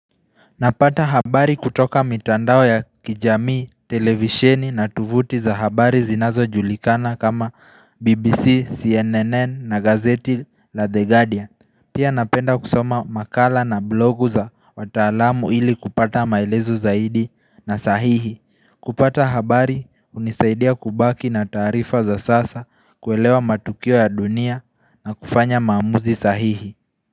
Napata habari kutoka mitandao ya kijamii, televisheni na tovuti za habari zinazo julikana kama BBC, CNN na gazeti la The Guardian. Pia napenda kusoma makala na blogu za wataalamu ili kupata maelezo zaidi na sahihi. Kupata habari hunisaidia kubaki na taarifa za sasa kuelewa matukio ya dunia na kufanya maamuzi sahihi.